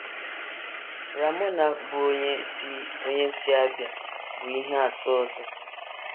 Ramona, bụ́ onye si onye si Abia, bụ ihe atụ ọzọ.